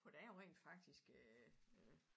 For der er jo rent faktisk øh øh